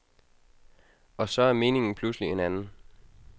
Og så er meningen pludselig en anden.